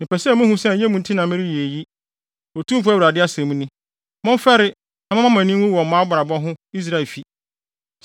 Mepɛ sɛ muhu sɛ ɛnyɛ mo nti na mereyɛ eyi, Otumfo Awurade asɛm ni. Momfɛre na momma mo ani nwu wɔ mo abrabɔ ho Israelfi!